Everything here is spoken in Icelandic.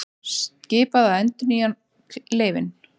Skipað að endurnýja leyfin